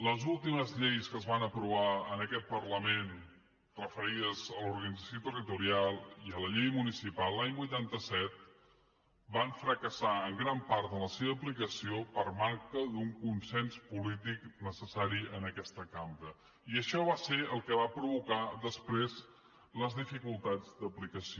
les últimes lleis que es van aprovar en aquest parlament referides a l’organització territorial i a la llei municipal l’any vuitanta set van fracassar en gran part en la seva aplicació per manca d’un consens polític necessari en aquesta cambra i això va ser el que va provocar després les dificultats d’aplicació